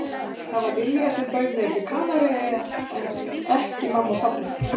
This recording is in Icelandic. Það var Lilja sem bauð mér til Kanaríeyja en ekki mamma og pabbi.